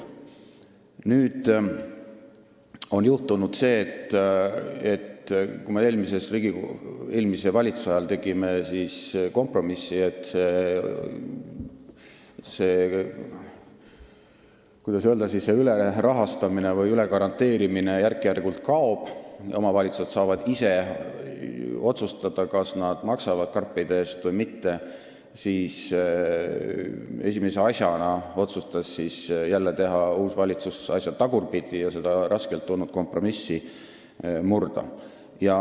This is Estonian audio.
Nüüd on juhtunud see, et kui me eelmise valitsuse ajal tegime kompromissi, et see, kuidas öelda, ülerahastamine või ülegaranteerimine järk-järgult kaob, omavalitsused saavad ise otsustada, kas nad maksavad karpide eest või mitte, siis uus valitsus otsustas esimese asjana teha asju tagurpidi ja seda raskelt tulnud kompromissi murda.